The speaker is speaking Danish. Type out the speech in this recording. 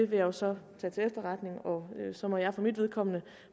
jo så tage til efterretning og så må jeg for mit vedkommende